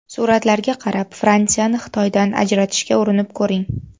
Suratlarga qarab Fransiyani Xitoydan ajratishga urinib ko‘ring.